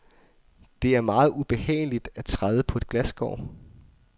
Det er meget ubehageligt at træde på et glasskår.